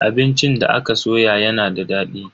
Abincin da aka soya yana da dadi.